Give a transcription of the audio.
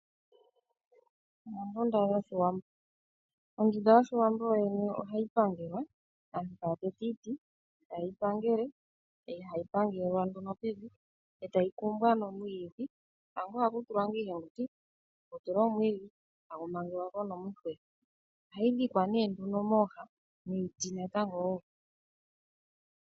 Ondunda yoshiwambo. Ondunda yoshiwambo yo yene ohayi pangelwa. Aantu taya tete iiti, taye yi pangele , eyi hayi pangelelwa nduno pevi , e tayi kumbwa nomwiidhi. Tango ohakutulwa ngaa iiyenguti, taku tulwa omwiidhi tagu mangelwa ko nomuhe. Ohayi dhikwa nduno mooha, niiti natango wo.